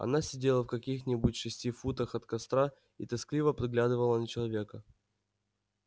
она сидела в каких-нибудь шести футах от костра и тоскливо приглядывала на человека